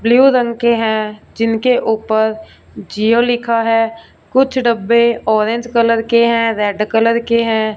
Blue रंग के हैं जिनके ऊपर जिओ लिखा है कुछ डब्बे ऑरेंज कलर के हैं रेड कलर के हैं।